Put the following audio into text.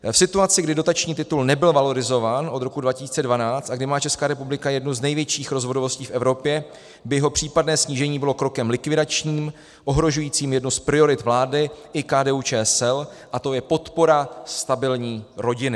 V situaci, kdy dotační titul nebyl valorizován od roku 2012 a kdy má Česká republika jednu z největších rozvodovostí v Evropě, by jeho případné snížení bylo krokem likvidačním, ohrožujícím jednu z priorit vlády i KDU-ČSL a tou je podpora stabilní rodiny.